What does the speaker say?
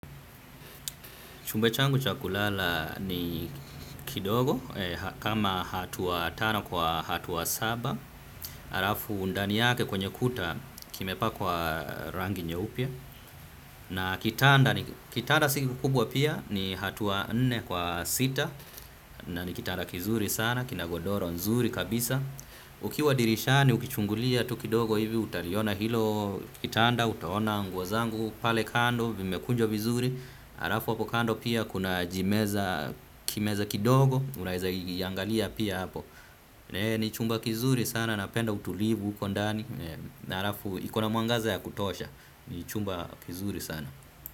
Chumba changu chakulala ni kidogo, kama hatua tano kwa hatua saba. Arafu undani yake kwenye kuta, kime pakwa rangi nyeupe. Na kitanda, kitanda siki kubwa pia, ni hatua nne kwa sita, na ni kitanda kizuri sana, kinagodoro nzuri kabisa. Ukiwa dirishani, ukichungulia tu kidogo hivi, utaliona hilo kitanda, utaona nguo zangu, pale kando, vimekunjwa vizuri. Harafu hapokando pia kuna jimeza kimeza kidogo. Unaeza iangalia pia hapo. Ni chumba kizuri sana napenda utulivu huko ndani na harafu ikona muangaza ya kutosha. Ni chumba kizuri sana.